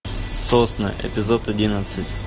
сосны эпизод одиннадцать